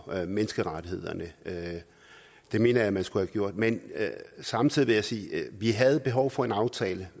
menneskerettighederne det mener jeg man skulle have gjort men samtidig vil jeg sige at vi havde behov for en aftale